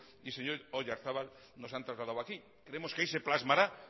y señor oyarzabal nos han trasladado aquí creemos que ahí se plasmará